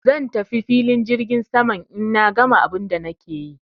Zan tafi filin jirgin saman in na gama abun da nake yi.